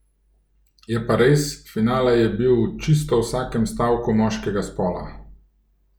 Je pa res, finale je bil v čisto vsakem stavku moškega spola.